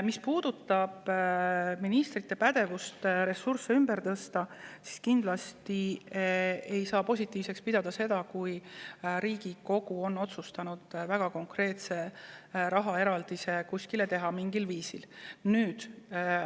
Mis puudutab ministrite pädevust ressursse ümber tõsta, siis kindlasti ei saa pidada positiivseks seda, kui Riigikogu on otsustanud teha mingil viisil kuskile väga konkreetse rahaeraldise.